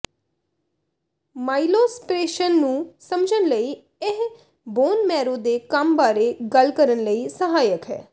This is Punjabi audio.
ਮਾਈਲੋਸਪ੍ਰੇਸ਼ਨ ਨੂੰ ਸਮਝਣ ਲਈ ਇਹ ਬੋਨ ਮੈਰੋ ਦੇ ਕੰਮ ਬਾਰੇ ਗੱਲ ਕਰਨ ਲਈ ਸਹਾਇਕ ਹੈ